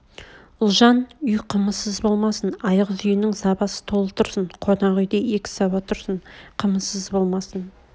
ұлжан үй қымызсыз болмасын айғыз үйнің сабасы толы тұрсын қонақ үйде екі саба тұрсын қымызсыз болмасын